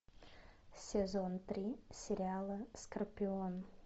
сезон три сериала скорпион